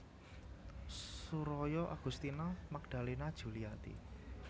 Suroyo Agustina Magdalena Djuliati